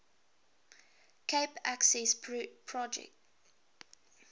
cape accessprojek verskaf